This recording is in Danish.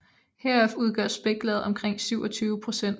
Heraf udgør spæklaget omkring 27 procent